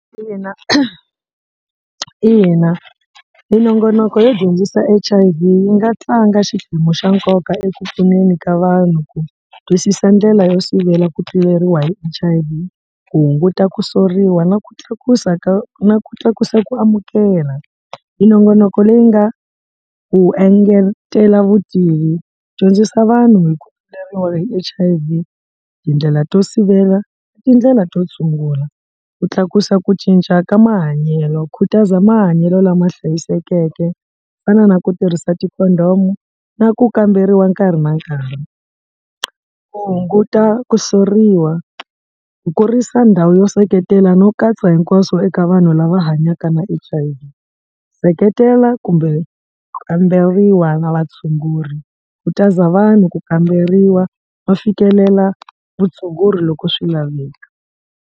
ina minongonoko yo dyondzisa H_I_V yi nga tlanga xiphemu xa nkoka eku pfuneni ka vanhu ku twisisa ndlela yo sivela ku tluleriwa hi H_I_V ku hunguta ku soriwa na ku tlakusa ka na ku tlakusa ku amukela. Minongonoko leyi nga ku engetela vutivi dyondzisa vanhu hi ku hi H_I_V tindlela to sivela tindlela to tshungula ku tlakusa ku cinca ka mahanyelo khutaza mahanyelo lama hlayisekeke fana na ku tirhisa ti-condom na ku kamberiwa nkarhi na nkarhi. Ku hunguta ku soriwa ku kurisa ndhawu yo seketela no katsa hinkwaswo eka vanhu lava hanyaka na H_I_V seketela kumbe kamberiwa na vatshunguri khutaza vanhu ku kamberiwa va fikelela vutshunguri loko swi laveka.